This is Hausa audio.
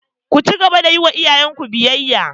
Ku cigaba da yi wa iyayenku biyayya!